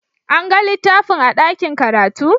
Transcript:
An ga littafin a ɗakin karatu?